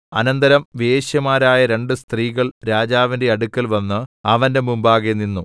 അനന്തരം വേശ്യമാരായ രണ്ട് സ്ത്രീകൾ രാജാവിന്റെ അടുക്കൽവന്ന് അവന്റെ മുമ്പാകെ നിന്നു